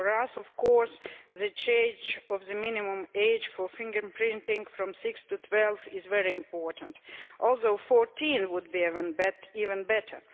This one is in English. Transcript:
For us the change of the minimum age for fingerprinting from 6 to 12 is very important but 14 would have been even better.